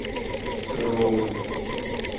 сыровой